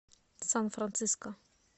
сан франциско